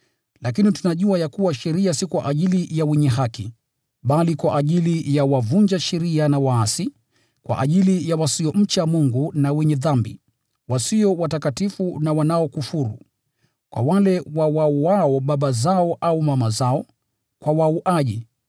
Lakini tunajua ya kuwa sheria si kwa ajili ya wenye haki, bali kwa ajili ya wavunja sheria na waasi, kwa ajili ya wasiomcha Mungu na wenye dhambi, wasio watakatifu na wanaokufuru; kwa wale wawauao baba zao au mama zao, kwa wauaji,